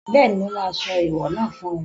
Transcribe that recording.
Bẹ́ẹ̀ni, mo máa sọ ẹ̀ẹ̀wọ̀ náà fún ẹ